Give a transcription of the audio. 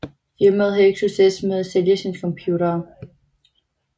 Firmaet havde ikke succes med at sælge sine computere